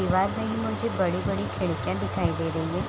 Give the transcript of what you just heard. दीवार में ही मुझे बड़ी-बड़ी खिड़कियाँ दिखाई दे रही है ।